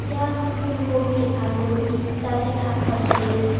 ইয়াত ফুলকবি আলু ইত্যাদি শাকপাচলি আছে।